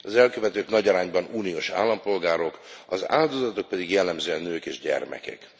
Az elkövetők nagy arányban uniós állampolgárok, az áldozatok pedig jellemzően nők és gyermekek.